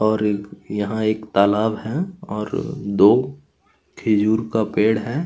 -- और यहाँ एक तालाब है और दो खुजूर का पेड़ है।